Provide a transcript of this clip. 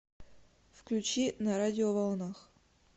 включи на радиоволнах